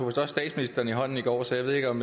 også statsministeren i hånden i går så jeg ved ikke om